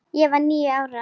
Ég var níu ára.